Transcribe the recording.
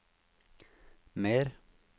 mer